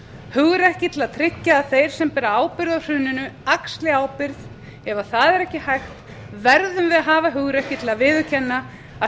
hugrekki til að tryggja að þeir sem bera ábyrgð á hruninu axli ábyrgð ef það er ekki hægt verðum við að hafa hugrekki til að viðurkenna að